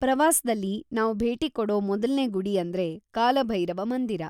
ಪ್ರವಾಸ್ದಲ್ಲಿ ನಾವ್ ಭೇಟಿ ಕೊಡೋ ಮೊದಲ್ನೇ ಗುಡಿ ಅಂದ್ರೆ ಕಾಲಭೈರವ ಮಂದಿರ.